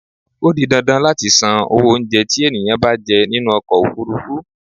Ó di dandan láti san owó oúnjẹ tí ènìyàn bá jẹ nínú ọkọ ofúrúfú.